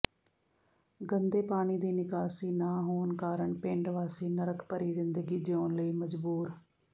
ਗੰਦੇ ਪਾਣੀ ਦੀ ਨਿਕਾਸੀ ਨਾ ਹੋਣ ਕਾਰਨ ਪਿੰਡ ਵਾਸੀ ਨਰਕ ਭਰੀ ਜ਼ਿੰਦਗੀ ਜਿਉਣ ਲਈ ਮਜਬੂਰ